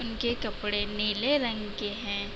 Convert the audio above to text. उनके कपड़े नीले रंग के हैं |